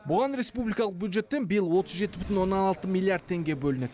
бұған республикалық бюджеттен биыл отыз жеті бүтін оннан алты миллиард теңге бөлінеді